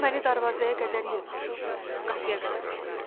O məni darvazaya qədər yox, qapıya qədər ötürdü.